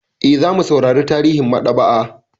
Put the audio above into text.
Eh, zamu saurara tarihin maɗaba'a.